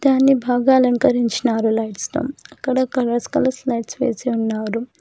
దాన్ని బాగా అలంకరించినారు లైట్స్ తో అక్కడక్కడ కలర్స్ కలర్స్ లైట్స్ వేసి ఉన్నారు.